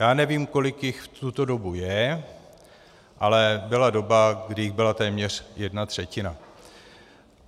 Já nevím, kolik jich v tuto dobu je, ale byla doba, kdy jich byla téměř jedna třetina.